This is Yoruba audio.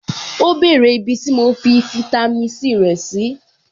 Ó bèrè ibi tí mo fi fitami C rẹ̀ sí.